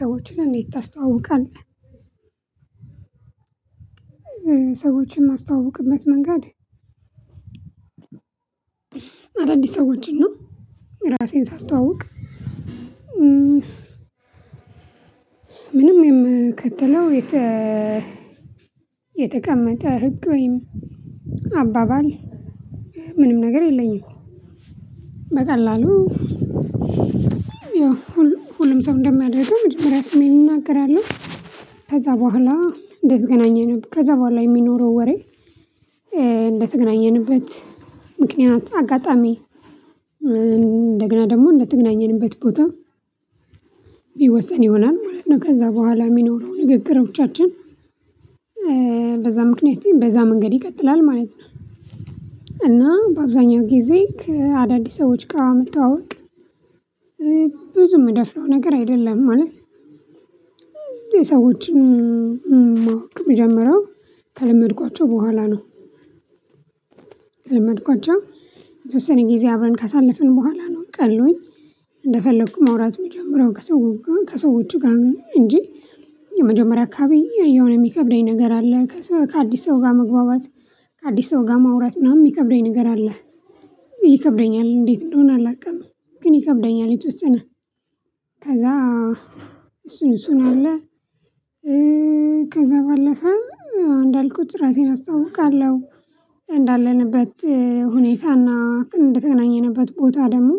ሰዎችን እንዴት ታስተዋውቃለህ? ሰዎችን ማስተዋወቅበት መንገድ አዳዲስ ሰዎችን እና ራሴን ሳስተዋውቅ ምንም የምከተለው የተ የተቀመጠ ህግ ወይም አባባል ምንም ነገር የለኝም። በቀላሉ ያው ሁሉም ሰው እንደሚያደርገው መጀመሪያ ስሜን እናገራለው ከዛ በኋላ እንደተገናኘን ከዛ በኋላ የሚኖረው ወሬ። እንደተገናኘንበት ምክንያት አጋጣሚ እንደገና ደግሞ እንደተገናኘንበት ቦታ የሚወሰን ይሆናል ማለት ነው። ከዛ በኋላ የሚኖረው ንግግሮቻችን በዛ ምክንያት በዛ መንገድ ይቀጥላል ማለት ነው። እና በአብዛኛው ጊዜ ከአዳዲስ ሰዎች ጋር መተዋወቅ ብዙ የምደፍረው ነገር አይደለም ማለት የሰዎችን ማወቅ የምጀምረው ከለመድኳቸው በኋላ ነው። ከለመድኳቸው የተወሰነ ጊዜ አብረን ካሳለፍን በኋላ ነው ቀሉኝ እንደፈለኩ ማውራት የምጀምረው ከሰዎች ጋር እንጂ የመጀመሪያ አካባቢ የሆነ የሚከብደኝ ነገር አለ። ከአዲስ ሰው ጋር መግባባት ከአዲስ ሰው ጋር ማውራት ምናምን የሚከብደኝ ነገር አለ። ይከብደኛል እንዴት እንደሆነ አላውቅም። ግን ይከብደኛል የተወሰነ ከዛ እሱን እሱን አለ ከዛ ባለፈ እንዳልኩት ራሴን አስተዋውቃለሁ። እንዳለንበት ሁኔታና እንደተገናኘንበት ቦታ ደግሞ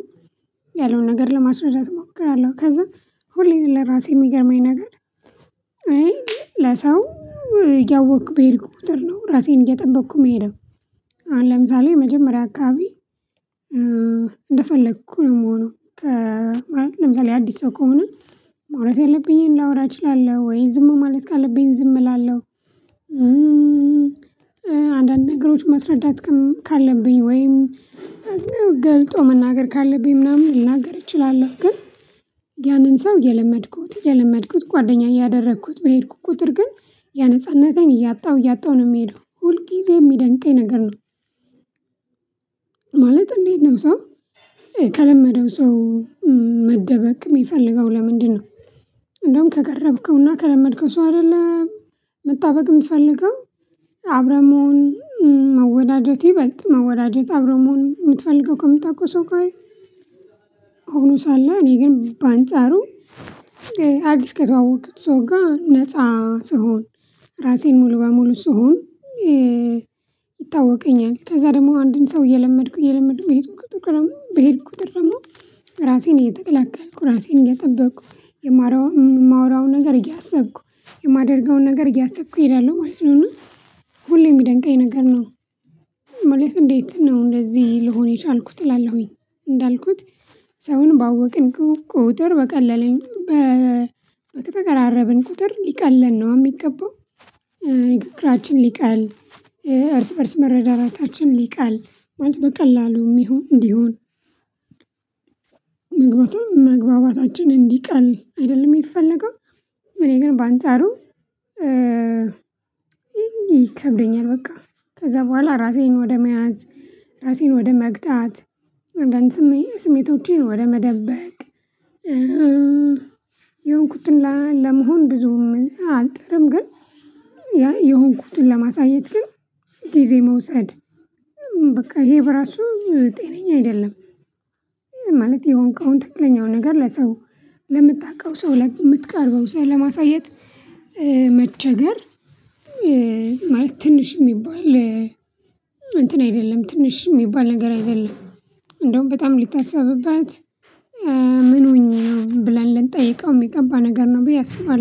ያለውን ነገር ለማስረዳት እሞክራለሁ። ከዛ ሁሌም ለራሴ የሚገርመኝ ነገር እኔ ለሰው እያወኩ በሄድኩ ቁጥር ነው ራሴን እየጠበቅኩ የሄደው። አሁን ለምሳሌ መጀመሪያ አካባቢ እንደፈለኩኝ ነው የምሆነው። ማለት ለምሳሌ አዲስ ሰው ከሆነ ማውራት ያለብኝን ላወራ እችላለሁ ወይ ዝሙ ማለት ካለብኝ ዝም እላለሁ። አንዳንድ ነገሮች ማስረዳት ካለብኝ ወይም ገልጦ መናገር ካለብኝ ምናምን ልናገር እችላለሁ። ግን ያንን ሰው እየለመድኩት እየለመድኩት ጓደኛ እያደረኩት በሄድኩ ቁጥር ግን ያህ ነጻነቴን እያጣሁ እያጣሁ ነው የምሄደው ሁል ጊዜ የሚደንቀኝ ነገር ነው። ማለት እንዴት ነው ሰው ከለመደው ሰው መደበቅ የሚፈልገው ለምንድነው? እንደውም ከቀረብከውና ከለመድከው ሰው አይደለም መጣበቅ የምትፈልገው አብረህ መሆን መወዳጀት ይበልጥ መወዳጀት አብሮ መሆን የምትፈልገው ከምታውቀው ሰው ጋር። አደል አለአ እኔ ግን በአንጻሩ አዲስ ከተዋወኩት ሰው ጋር ነፃ ስሆን ራሴን ሙሉ በሙሉ ስሆን። ይታወቀኛል ከዛ ደግሞ አንድን ሰው እየለመድኩ እየለመድኩ በሄድኩ ቁጥር ደግሞ በሄድኩ ቁጥር ድርሞ ራሴን እየተከላከልኩ ራሴን እየጠበቅኩ የማወራውን ነገር እያሰብኩ የማደርገውን ነገር እያሰብኩ እሄዳለሁ ማለት ነው። እና ሁሌ የሚደንቀኝ ነገር ነው። ማለት እንዴት ነው እንደዚህ ልሆን የቻልኩት እላለሁኝ። እንዳልኩት ሰውን ባወቅን ቁጥር በቀለለኝ በተቀራረብን ቁጥር ሊቀለን ነው አደለ የሚገባው። ንግግራችን ሊቃል እርስ በእርስ መረዳዳታችን ሊቃል ማለት በቀላሉም ይሁን እንዲሆን መግባታ መግባባታችን እንዲቀል አይደለም የሚፈለገው። እኔ ግን በአንጻሩ። ይከብደኛል በቃ ከዛ በኋላ ራሴን ወደ መያዝ ራሴን ወደ መግጣት አንዳንድ ስሜ ስሜቶቼን ወደ መደበቅ። የሆንኩትን ለመሆን ብዙም አንጥርም ግን ያ የሆንኩትን ለማሳየት ግን ጊዜ መውሰድ በቃ ይሄ በራሱ ጤነኛ አይደለም። ማለት የሆንከውን ትክክለኛው ነገር ለሰው ለምታውቀው ሰው ለምትቀርበው ሰው ለማሳየት መቸገር ማለት ትንሽ የሚባል እንትን አይደለም ትንሽ የሚባል ነገር አይደለም። እንደውም በጣም ሊታሰብበት ምን ሆኜ ነው ብለን ልንጠይቀው የሚገባ ነገር ነው ብዬ አስባለሁ